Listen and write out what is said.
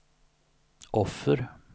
offer